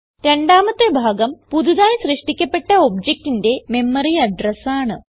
രണ്ടാമത്തെ ഭാഗം പുതുതായി സൃഷ്ടിക്കപ്പെട്ട objectന്റെ മെമ്മറി അഡ്രസ് ആണ്